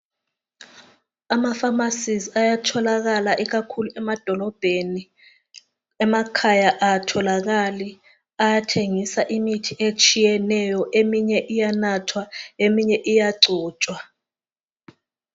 Ama pharmacies ayatholakala ikakhulu emadolobheni, emakhaya akatholakali. Ayathengisa imithi etshiyeneyo eminye iyanathwa eminye iyagcotshwa